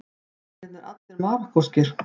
Eru mennirnir allir Marokkóskir